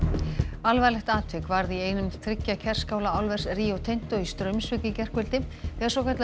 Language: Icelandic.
alvarlegt atvik varð í einum þriggja Kerskála álvers Rio Tinto í Straumsvík í gærkvöldi þegar svokallaður